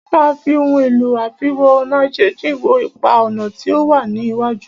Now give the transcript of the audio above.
A máà fí ohun èlò àfiwo-ọ̀nàjíjìn wo ipa-ọ̀nà tí o wá ní iwájú.